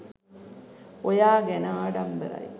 ඔයා ගැන ආඩම්බරයි.